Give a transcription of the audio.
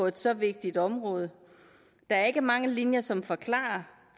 et så vigtigt område der er ikke mange linjer som forklarer